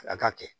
A ka kɛ